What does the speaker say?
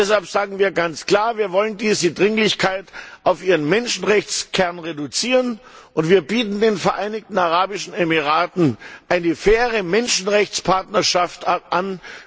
Deshalb sagen wir ganz klar Wir wollen diese Dringlichkeit auf ihren Menschenrechtskern reduzieren und wir bieten den Vereinigten Arabischen Emiraten eine faire Menschenrechtspartnerschaft an.